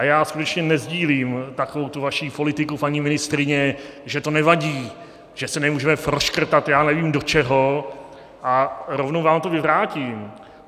A já skutečně nesdílím takovou tu vaši politiku, paní ministryně, že to nevadí, že se nemůžeme proškrtat já nevím do čeho, a rovnou vám to vyvrátím.